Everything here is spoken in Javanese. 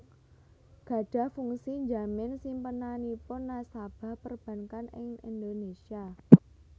gadhah fungsi njamin simpenanipun nasabah perbankan ing Indonésia